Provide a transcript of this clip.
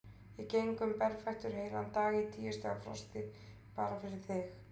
Ég geng um berfættur heilan dag í tíu stiga frosti, bara fyrir þig.